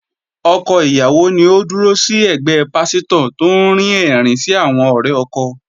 Ọkọ ìyàwó ni Ó dúró sí ẹ̀gbẹ́ pásítò tó ń rín ẹ̀rín sí àwọn ọ̀rẹ́ ọkọ.